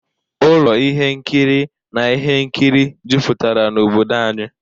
Ụlọ ihe nkiri na ihe nkiri jupụtara n'obodo anyị.